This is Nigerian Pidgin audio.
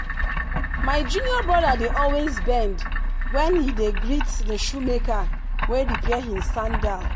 my junior brother dey always bend when he dey greet the shoemaker wey repair him sandal.